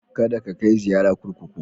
Kada ka kai ziyara kurkuku.